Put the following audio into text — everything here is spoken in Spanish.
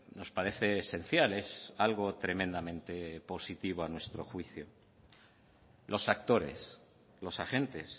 nos parece esencial es algo tremendamente positivo a nuestro juicio los actores los agentes